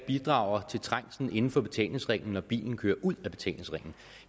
bidrager til trængslen inden for betalingsringen når bilen kører ud af betalingsringen